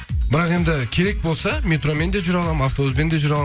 бірақ енді керек болса метромен де жүре аламын автобуспен де жүре аламын